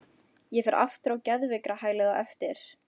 Ég fer aftur á geðveikrahælið á eftir.